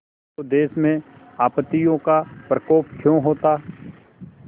तो देश में आपत्तियों का प्रकोप क्यों होता